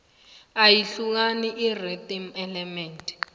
iyahlukani irhythm element